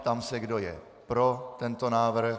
Ptám se, kdo je pro tento návrh.